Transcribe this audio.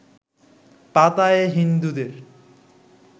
পাতায়ায় হিন্দুদের